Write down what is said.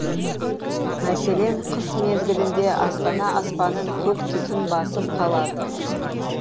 мәселен қыс мезгілінде астана аспанын көк түтін басып қалады